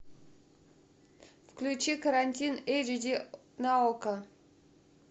включи карантин эйч ди на окко